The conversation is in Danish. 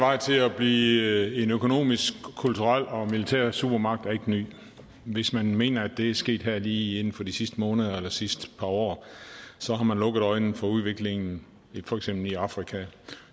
vej til at blive en økonomisk kulturel og militær supermagt er ikke ny hvis man mener at det er sket her lige inden for de sidste måneder eller sidste par år så har man lukket øjnene for udviklingen i for eksempel afrika